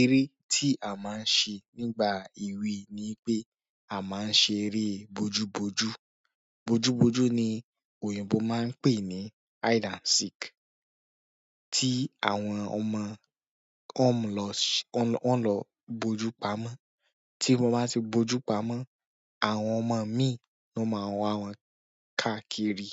Eré tí a máa ń ṣe nígbà èwe ni pé a máa ń ṣe eré bojú bojú. Bojú bojú ni òyìnbó máa ń pè ní hide and seek. Tí àwọn ọmọ ọ ń lọ, ọ ń lọ bojú pamọ́, tí mo bá ti bo ojú pamọ́, àwọn ọmọ mi ni ó máa wá wọn káàkiri.